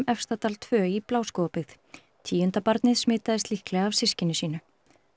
Efstadal tvö í Bláskógabyggð tíunda barnið smitaðist líklega af systkini sínu